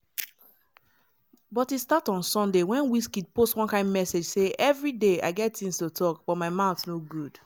but e start on sunday wen wizkid post one kain message say "evri day i get tins to tok but my mouth no good"